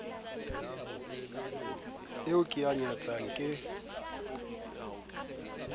eo ke e nyatsang ke